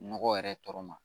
Nɔgɔ yɛrɛ tɔ ma